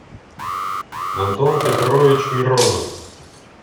антон петрович миронов